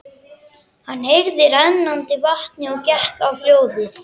Hann heyrði í rennandi vatni og gekk á hljóðið.